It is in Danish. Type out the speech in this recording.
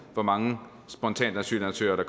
hvor mange spontane asylansøgere er